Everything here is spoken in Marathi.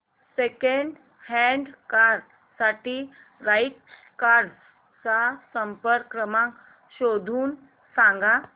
सेकंड हँड कार साठी राइट कार्स चा संपर्क क्रमांक शोधून सांग